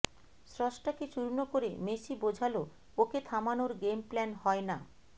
স্রষ্টাকে চূর্ণ করে মেসি বোঝাল ওকে থামানোর গেমপ্ল্যান হয় না